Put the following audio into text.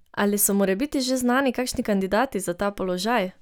Ali so morebiti že znani kakšni kandidati za ta položaj?